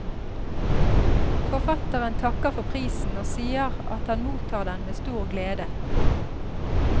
Forfatteren takker for prisen og sier at han mottar den med stor glede.